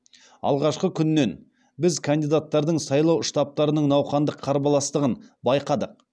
алғашқы күннен біз кандидаттардың сайлау штабтарының науқандық қарбаластығын байқадық